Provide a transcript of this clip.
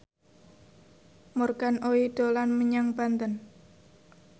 Morgan Oey dolan menyang Banten